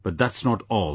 But that's not all